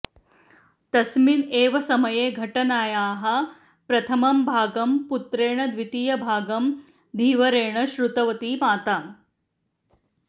तस्मिन् एव समये घटनायाः प्रथमं भागं पुत्रेण द्वितीयं भागं धीवरेण श्रुतवती माता